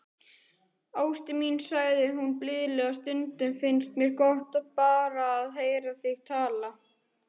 Ástin mín, sagði hún blíðlega,- stundum finnst mér svo gott, bara að heyra þig tala.